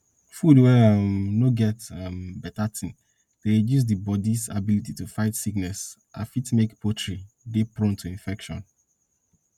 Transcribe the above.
food wey um no get um beta tin dey reduce di bodis ability to fight sickness and fit make poultry dey prone to infection